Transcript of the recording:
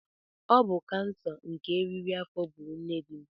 Ọ bụ kansa nke eriri afọ gburu nne dim.